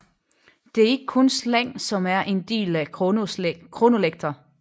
Det er ikke kun slang som er en del af kronolekter